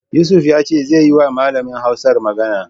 Yusuf ya ce zai yiwa malamin Hausar magana.